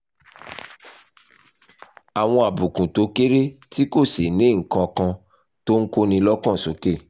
àwọn àbùkù tó kéré tí kò sì ní nǹkan kan tó ń kóni lọ́kàn sókè